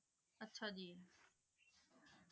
ਆਹ ਜੀ